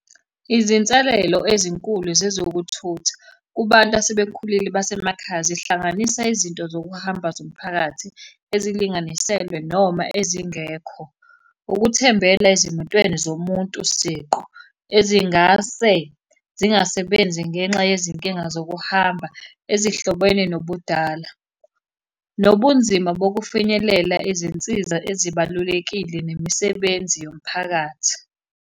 Izinselelo ezinkulu zezokuthutha kubantu asebekhulile basemakhaya zihlanganisa izinto zokuhamba zomphakathi ezilinganiselwe noma ezingekho. Ukuthembela ezimotweni zomuntu siqu ezingase zingasebenzi ngenxa yezinkinga zokuhamba, ezihlobene nokudala. Nobunzima bokufinyelelela izinsiza ezibalulekile nemisebenzi yomphakathi.